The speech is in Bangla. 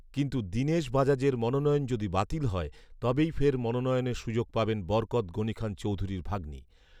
কিন্তু, দিনেশ বাজাজের মনোনয়ন যদি বাতিল হয় তবেই ফের মনোনয়নের সুযোগ পাবেন বরকৎ গনিখান চৌধুরীর ভাগ্নি